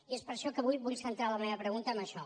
i és per això que avui vull centra la meva pregunta en això